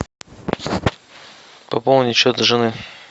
пополнить счет жены